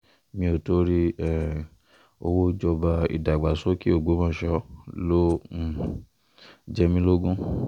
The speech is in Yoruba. mi o tori um owo ijọba idagbasoke ogbomọshọ lo um jẹ mi logun